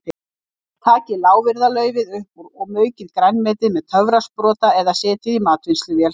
Takið lárviðarlaufið upp úr og maukið grænmetið með töfrasprota eða setjið í matvinnsluvél.